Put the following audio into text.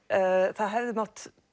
það hefði mátt